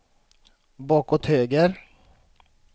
bakåt höger